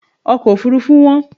Ọkọ̀ òfuurufú wón.